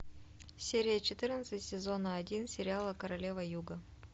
серия четырнадцать сезона один сериала королева юга